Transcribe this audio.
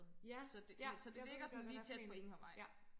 Så det så det ligger sådan lige tæt på enghavevej